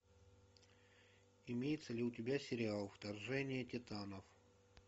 имеется ли у тебя сериал вторжение титанов